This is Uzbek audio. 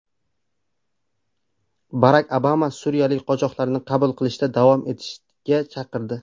Barak Obama suriyalik qochoqlarni qabul qilishda davom etishga chaqirdi.